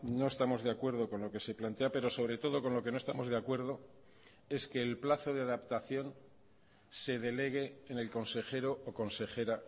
no estamos de acuerdo con lo que se plantea pero sobre todo con lo que no estamos de acuerdo es que el plazo de adaptación se delegue en el consejero o consejera